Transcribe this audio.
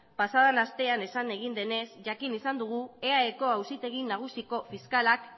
pasa den astean esan egin denez jakin izan dugu eaeko auzitegi nagusiko fiskalak